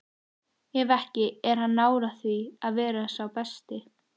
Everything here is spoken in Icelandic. Ef ekki, er hann nálægt því að vera sá besti?